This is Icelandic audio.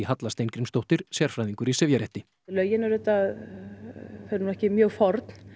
Halla Steingrímsdóttir sérfræðingur í sifjarétti lögin eru auðvitað ekki mjög forn